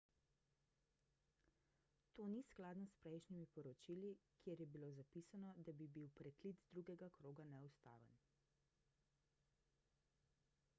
to ni skladno s prejšnjimi poročili kjer je bilo zapisano da bi bil preklic drugega kroga neustaven